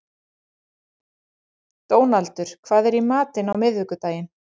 Dónaldur, hvað er í matinn á miðvikudaginn?